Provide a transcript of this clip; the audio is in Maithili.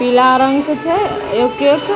पीला रंग के छै एक-एक --